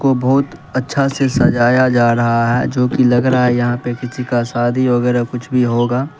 बहुत अच्छा से सजाया जा रहा है जो कि लग रहा है यहां पे किसी का शादी वगैरह कुछ भी होगा।